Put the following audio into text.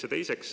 Seda esiteks.